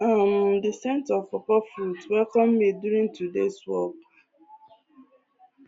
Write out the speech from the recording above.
um the scent of pawpaw fruits welcome me during todays walk